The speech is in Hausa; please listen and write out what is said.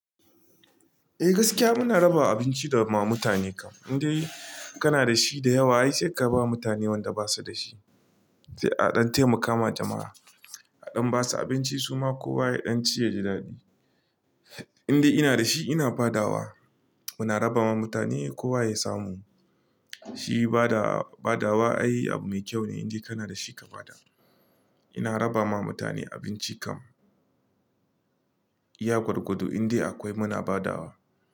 Eh gaskiya muna raba abinci da mutane kam, in dai kana da shi da yawa ai sai ka ba mutane waɗanda ba su da shi. Sai a ɗan taimaka wa jama'a, a ɗan basu abinci su ma kowa ya ɗan ci yaji daɗi. In dai ina da shi ina badawa. Muna raba ma mutane kowa ya samu. Shi badawa, badawa ai akwai kyau, in dai kana da shi ka bada. Ina raba ma mutane abinci kam. Iya gwargwado in dai akwai muna badawa.